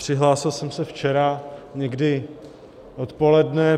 Přihlásil jsem se včera někdy odpoledne.